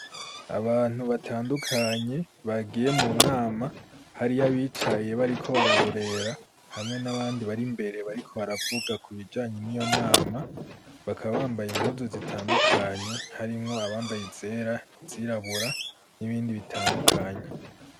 Abantu batandukanye bagiye mu nama hariyo abicaye bariko bararorera hamwe n'abandi bari mbere bariko baravuga ku bijanye n'iyo nama bakabambaye impuzu zitandukanye harimwo abambaye zera izirabura n'ibindi bitandukanye.